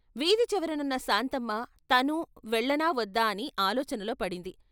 వీధి చివరనున్న శాంతమ్మ తనూ వెళ్ళనా వద్దా అని ఆలోచనలో పడింది.